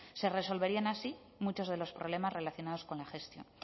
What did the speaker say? se resolverían así muchos de los problemas relacionados con la gestión